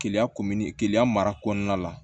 Keleya keleya mara kɔnɔna la